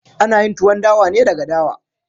Ana yin Tuwon dawa ne daga dawa.